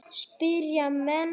spyrja menn.